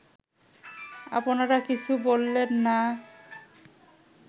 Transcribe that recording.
আপনারা কিছু বললেন না